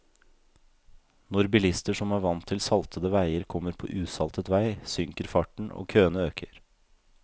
Når bilister som er vant til saltede veier kommer på usaltet vei, synker farten, og køene øker.